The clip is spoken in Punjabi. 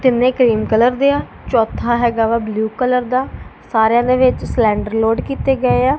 ਕਿੰਨੇ ਕਰੀਮ ਕਲਰ ਦੇ ਆ ਚੌਥਾ ਹੈਗਾ ਵਾ ਬਲੂ ਕਲਰ ਦਾ ਸਾਰਿਆਂ ਦੇ ਵਿੱਚ ਸਲਿੰਡਰ ਲੋਡ ਕੀਤੇ ਗਏ ਆ।